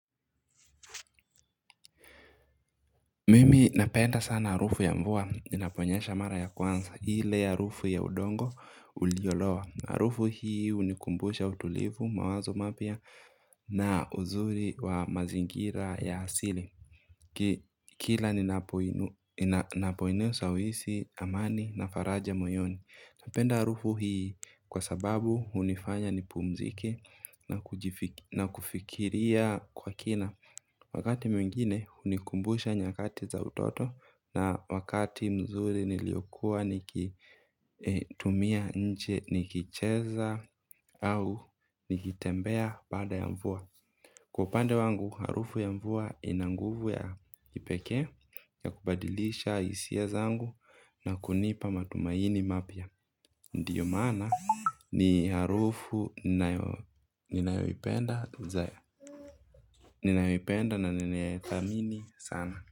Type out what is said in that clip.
Mimi napenda sana arufu ya mvua ninaponyesha mara ya kwanza hile harufu ya udongo uliolowa. Arufu hii unikumbusha utulivu mawazo mapya na uzuri wa mazingira ya asili. Kila ninapoinusa uisi amani na faraja moyoni. Napenda arufu hii kwa sababu unifanya nipumzike na kufikiria kwa kina. Wakati mwingine unikumbusha nyakati za utoto na wakati mzuri niliokua nikitumia nje nikicheza au nikitembea baada ya mvua. Kwa upande wangu, harufu ya mvua inanguvu ya kipeke ya kubadilisha isia zangu na kunipa matumaini mapya. Ndiyo mana ni harufu ninayoipenda. Nini nayoipenda na nini ayeta mini sana.